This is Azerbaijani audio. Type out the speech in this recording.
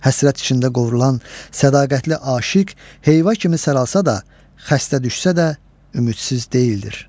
Həsrət içində qovrulan sədaqətli aşiq heyva kimi saralsa da, xəstə düşsə də ümidsiz deyildir.